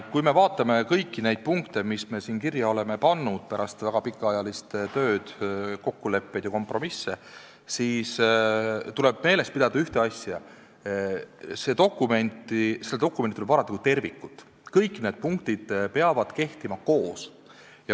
Kui me vaatame kõiki neid punkte, mis me oleme siia kirja pannud pärast väga pikaajalist tööd, kokkuleppeid ja kompromisse, siis tuleb meeles pidada ühte asja: seda dokumenti tuleb vaadata kui tervikut, kõik need punktid peavad kehtima koos.